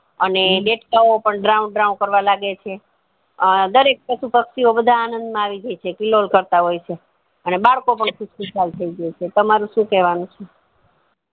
અને દેડકાઓ પણ ડ્રાઉં ડ્રાઉં કરવા લાગે છે આ દરેક એક પશુ પક્ષી ઓ બધા આનંદ માં આવી જાય છે કિલોલ કરતા હોય છે અને બાળકો પણ ખુશ થય જાય છે તમારું શું કેવાનું છે